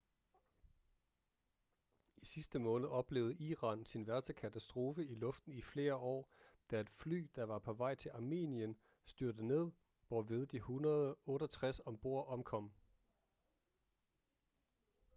i sidste måned oplevede iran sin værste katastrofe i luften i flere år da et fly der var på vej til armenien styrtede ned hvorved de 168 ombord omkom